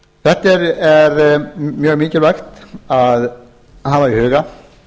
þetta er mjög mikilvægt að hafa í huga